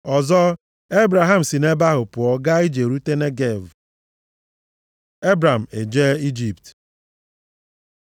Ọzọ, Ebram si nʼebe ahụ pụọ gaa ije rute Negev. + 12:9 Ihe aha a pụtara bụ “ala kpọrọ nkụ.” Nke a bụ nʼihi ala ahụ tọgbọrọ nʼefu, gbatịa gbadaa ndịda Jerusalem, nʼụzọ ọzara. Ebram ejee Ijipt